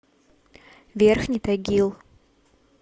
верхний тагил